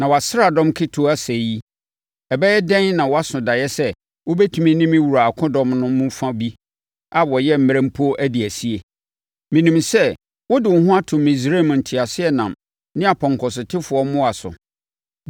Na wʼasraadɔm ketewa sɛɛ yi, ɛbɛyɛ dɛn na woaso daeɛ sɛ wobɛtumi ne me wura akodɔm no mu fa bi a wɔyɛ mmerɛ mpo adi asie. Menim sɛ wode wo ho ato Misraim nteaseɛnam ne apɔnkɔsotefoɔ mmoa so.